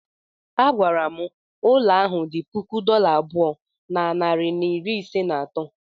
A gwara m ụlọ ahụ dị puku dollar abụọ na narị na iri ise na atọ.